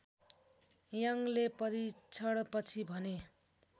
यङले परीक्षणपछि भने